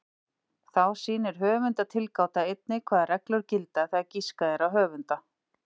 Þá sýnir höfundatilgáta einnig hvaða reglur gilda þegar giskað er á höfunda.